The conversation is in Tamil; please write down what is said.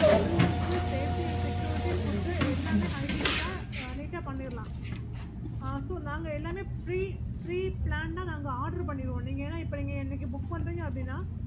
full and full safety and security food எல்லாமே hygienic neat ஆஹ் பண்ணிடலாம் நாங்க எல்லாமே நாங்க pre planned order பண்ணிருவோம்